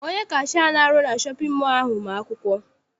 Onye kashia ahụ na-arụ na shọpịn mọọ ahụ ma akwụkwọ.